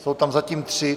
Jsou tam zatím tři.